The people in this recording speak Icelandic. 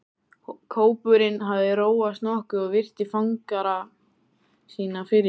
Kópurinn hafði róast nokkuð og virti fangara sína fyrir sér.